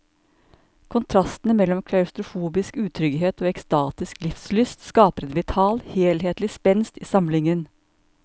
Kontrastene mellom klaustrofobisk utrygghet og ekstatisk livslyst skaper en vital, helhetlig spenst i samlingen.